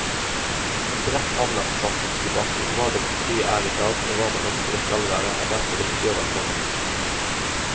En bredt anlagt samfunnsdebatt om hva demokratiet er i dag, og hva man ønsker det skal være, er derfor viktig og velkommen.